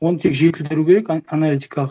оны тек жетілдіру керек аналитикалық